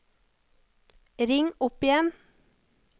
ring opp igjen